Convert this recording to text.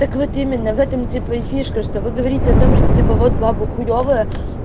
так вот именно в этом типо и фишка что вы говорите о том что типа вот бабы хуёвые